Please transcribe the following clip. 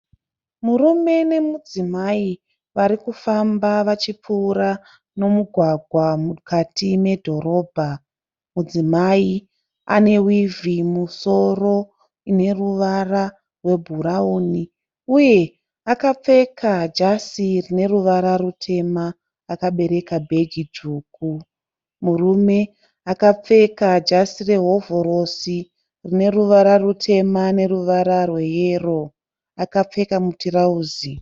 Murume nemudzimai vari kufamba vachipfuura mumugwagwa mukati medhorobha. Mudzimai ane wivhi mumusoro ine ruvara rwebhurawuni uye akapfeka jazi rine ruvara rutema akabereka bhegi dzvuku. Murume akapfeka jazi rehovhorosi rine ruvara rutema neruvara rweyellow. Akapfeka mutirauzi.